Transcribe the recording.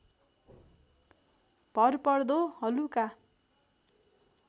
भरपर्दो हलुका